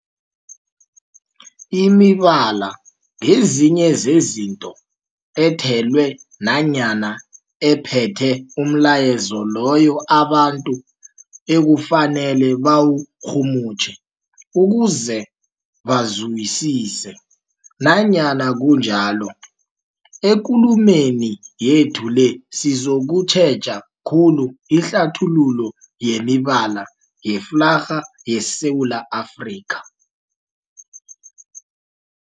Imibala ngezinye zezinto ethelwe nanyana ephethe umlayezo loyo abantu ekufanele bawurhumutjhe ukuze bawuzwisise. Nanyana kunjalo, ekulumeni yethu le sizokutjheja khulu ihlathululo yemibala yeflarha yeSewula Afrika.